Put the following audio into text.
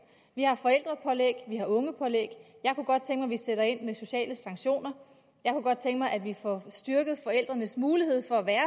vi har forældrepålæg vi har ungepålæg jeg kunne godt tænke vi sætter ind med sociale sanktioner jeg kunne godt tænke mig at vi får styrket forældrenes mulighed for at være